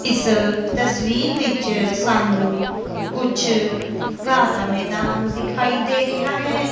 ਇੱਸ ਤਸਵੀਰ ਵਿੱਚ ਸਾਨੂੰ ਕੁਛ ਘਾਹ ਦਾ ਮੈਦਾਨ ਦਿਖਾਈ ਦੇ ਰਿਹਾ ਹੈ।